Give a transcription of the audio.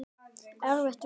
Erfið vörn.